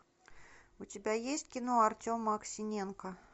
у тебя есть кино артема аксиненко